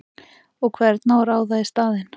Og hvern á að ráða í staðinn?!